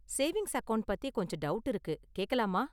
Savings account பத்தி கொஞ்சம் doubt இருக்கு, கேக்கலாமா?